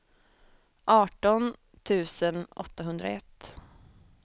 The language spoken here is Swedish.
arton tusen åttahundraett